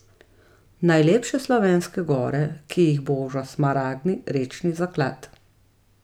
Najlepše slovenske gore, ki jih boža smaragdni rečni zaklad.